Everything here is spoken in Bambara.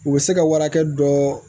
U bɛ se ka warakɛ dɔ